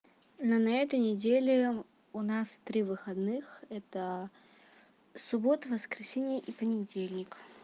но на этой неделе у нас три выходных это суббота воскресенье и понедельник